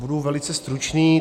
Budu velice stručný.